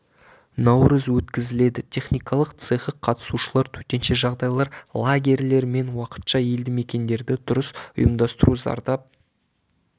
наурыз өткізіледі техникалық цехы қатысушылар төтенше жағдайлар лагерьлер мен уақытша елді мекендерді дұрыс ұйымдастыру зардап